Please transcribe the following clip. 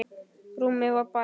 Rúmið var bælt.